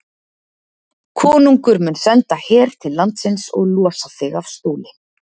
Konungur mun senda her til landsins og losa þig af stóli.